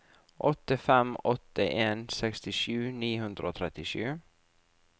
åtte fem åtte en sekstisju ni hundre og trettisju